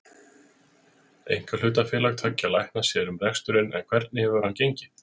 Einkahlutafélag tveggja lækna sér um reksturinn en hvernig hefur hann gengið?